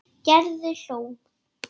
Gerður hló.